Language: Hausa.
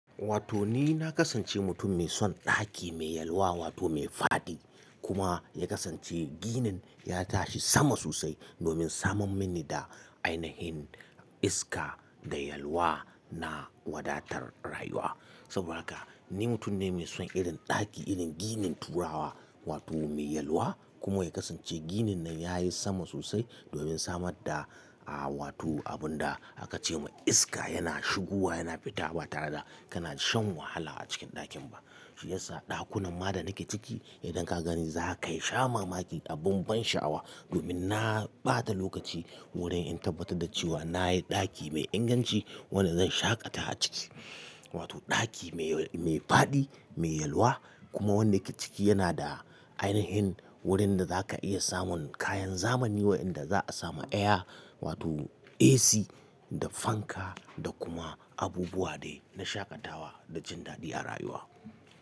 Wato ni na kasance mutum mai son ɗaki mai yalwa wato mai faɗi kuma ya kasance ginin ya tashi sama sosai domin samun mini da ainihin iska da yalwa na wadatar rayuwa. Saboda haka ni mutum ne mai son irin ɗaki, irin ginin turawa wato mai yalwa kuma ya kasance ginin nan ya yi sama sosai domin samar da, ah wato abun da aka ce ma iska yana shigowa yana fita ba tare da kana shan wahala a cikin ɗakin ba. Shi yasa ɗakunan ma da nake ciki idan ka gani za ka yi sha mamaki a ban sha'awa domin na ɓata lokaci wurin in tabbatar da cewa na yi ɗaki mai inganci wanda zan shaƙata a ciki. Wato ɗaki mai, mai faɗi, mai yalwa kuma wanda yake ciki yana da ainihin wurin da za ka iya samun kayan zamani wayanda za a samu air wato AC da fanka da kuma abubuwa dai na shaƙatawa da jin daɗi a rayuwa.